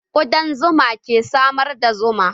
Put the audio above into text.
Kuɗan zuma ke samar da zuma